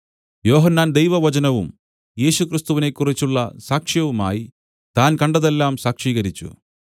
യോഹന്നാൻ ദൈവവചനവും യേശുക്രിസ്തുവിനെക്കുറിച്ചുള്ള സാക്ഷ്യവുമായി താൻ കണ്ടതെല്ലാം സാക്ഷീകരിച്ചു